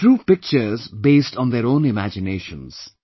They drew pictures based on their own imaginations